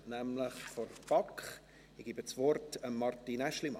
Ich gebe das Wort Martin Aeschlimann.